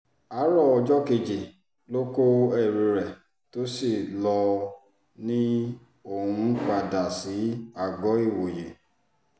àárọ̀ ọjọ́ kejì ló kó ẹrù rẹ̀ tó sì lò ó ni òun ń padà sí àgọ́-ìwòye